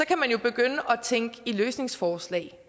kan man jo begynde at tænke i løsningsforslag